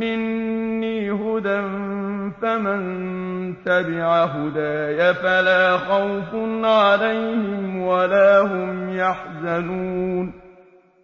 مِّنِّي هُدًى فَمَن تَبِعَ هُدَايَ فَلَا خَوْفٌ عَلَيْهِمْ وَلَا هُمْ يَحْزَنُونَ